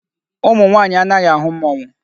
Ụmụ nwaanyị anaghị ahụ mmọnwụ.